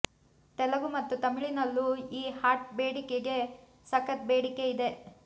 ತೆಲುಗು ಮತ್ತು ತಮಿಳಿನಲ್ಲೂ ಈ ಹಾಟ್ ಬೆಡಗಿಗೆ ಸಖತ್ ಬೇಡಿಕೆ ಇದೆ